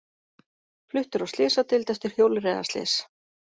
Fluttur á slysadeild eftir hjólreiðaslys